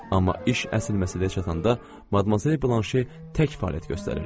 Amma iş əsil məsələyə çatanda Madmazel Blanşe tək fəaliyyət göstərirdi.